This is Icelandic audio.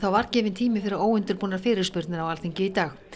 var gefinn tími fyrir óundirbúnar fyrirspurnir á Alþingi í dag